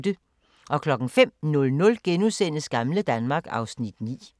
05:00: Gamle Danmark (Afs. 9)*